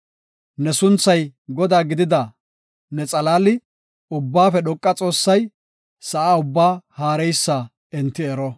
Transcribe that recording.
Ne sunthay Godaa gidida ne xalaali, Ubbaafe Dhoqa Xoossay, sa7a ubbaa haareysa enti ero.